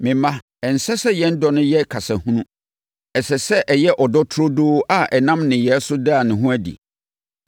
Me mma, ɛnsɛ sɛ yɛn dɔ no yɛ kasa hunu. Ɛsɛ sɛ ɛyɛ ɔdɔ turodoo a ɛnam nneyɛeɛ so da ne ho adi.